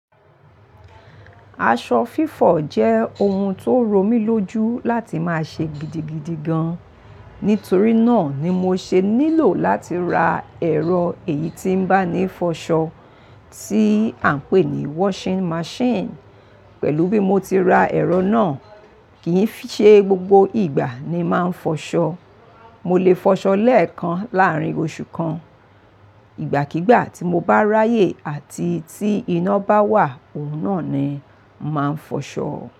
Aṣọ fífọ̀ jẹ́ ohun tó romílójú láti máa ṣe gidigidi gan. Nítorí náà ni mo ṣe nílò láti ra ẹ̀rọ èyí tí ń bá ni fọṣọ tí à ń pè ní washing machine. Pẹ̀lú bí mo ti ra ẹ̀rọ náà, kì í ṣe gbogbo ìgbà ni máa ń fọṣọ. Mo lè fọṣọ lẹ́ẹ̀kan láàárín oṣù kan. Ìgbàkígbà tí mo bá ráyè àti tí iná bá wà, òun náà ni máa ń fọṣọ.